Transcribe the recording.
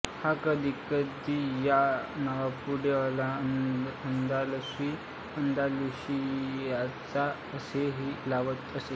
हा कधीकधी या नावापुढे अलअंदालुसी अंदालुशियाचा असेही लावत असे